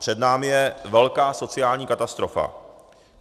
Před námi je velká sociální katastrofa.